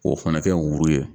K'o fɛnɛ kɛ wuruyi ye